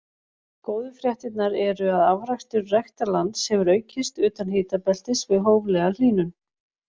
Góðu fréttirnar eru að afrakstur ræktarlands getur aukist utan hitabeltis við hóflega hlýnun.